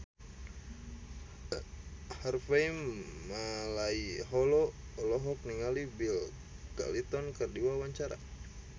Harvey Malaiholo olohok ningali Bill Clinton keur diwawancara